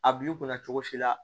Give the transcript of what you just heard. A b'i kunna cogo si la